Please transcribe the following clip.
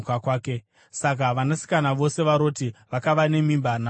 Saka vanasikana vose vaRoti vakava nemimba nababa vavo.